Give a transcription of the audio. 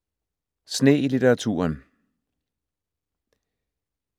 Sne i litteraturen